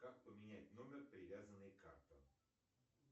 как поменять номер привязанный к картам